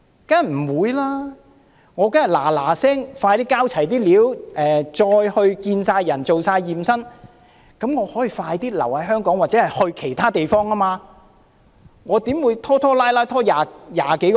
他們當然會盡快交齊資料，完成身體檢驗以便盡快獲准留在香港或到其他地方，怎會拖拖拉拉20多個星期？